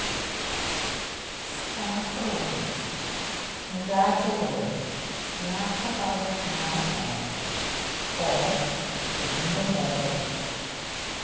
staff റൂമിൽ നീരാജയോട് യാത്ര പറഞ്ഞിറങ്ങാൻ നേരം ഫോൺ വീണ്ടും ബെല്ലടിച്ചു